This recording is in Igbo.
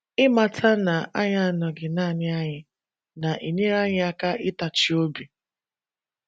Ịmata na anyị anọghị naanị anyị na - enyere anyị aka ịtachi obi